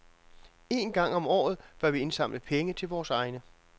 Én gang om året bør vi indsamle penge til vores egne.